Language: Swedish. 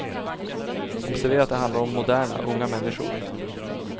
Observera att det handlar om moderna, unga människor.